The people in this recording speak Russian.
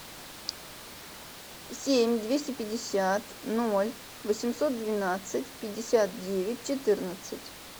семь двести пятьдесят ноль восемьсот двенадцать пятьдесят девять четырнадцать